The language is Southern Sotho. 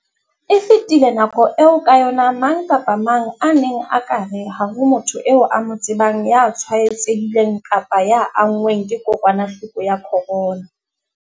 E fetile nako eo ka yona mang kapa mang a neng a ka re ha ho motho eo a mo tsebang ya tshwaetsehileng kapa ya anngweng ke kokwanahloko ya corona.